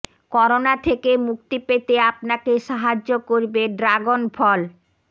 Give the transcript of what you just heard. corona থেকে মুক্তি পেতে আপনাকে সাহায্য করবে ড্রাগন ফল